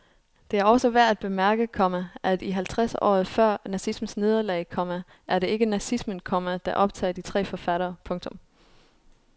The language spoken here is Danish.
Det er også værd at bemærke, komma at i halvtreds året for nazismens nederlag, komma er det ikke nazismen, komma der optager de tre forfattere. punktum